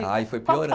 Aí foi